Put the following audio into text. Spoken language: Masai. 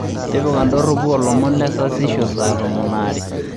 tipika indorropu oo ilomon le sasisho saa tomon oo aare